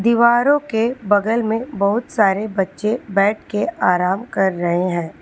दीवारों के बगल में बहुत सारे बच्चे बैठके आराम कर रहे हैं।